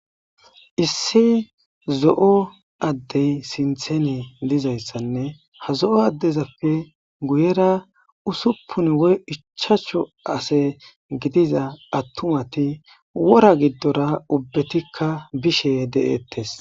Issi zoo addeti sinththeni dizayisanne ha zoo daezappe guyera usuppuni woyi ichchachu ase gidiza attumati wora giddora ubbatikka bishe deetesi